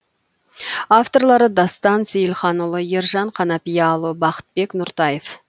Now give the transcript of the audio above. авторлары дастан сейілханұлы ержан қанапияұлы бақытбек нұртаев